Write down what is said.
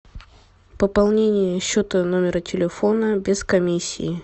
пополнение счета номера телефона без комиссии